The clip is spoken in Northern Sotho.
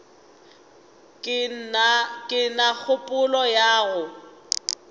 ke na kgopolo ya go